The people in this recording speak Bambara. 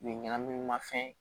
U ye ɲɛnaminimafɛn